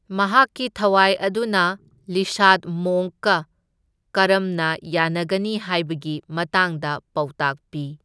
ꯃꯍꯥꯛꯀꯤ ꯊꯋꯥꯢ ꯑꯗꯨꯅ ꯂꯤꯁꯥꯗ ꯃꯣꯡꯛꯀ ꯀꯔꯝꯅ ꯌꯥꯅꯒꯅꯤ ꯍꯥꯢꯕꯒꯤ ꯃꯇꯥꯡꯗ ꯄꯥꯎꯇꯥꯛ ꯄꯤ꯫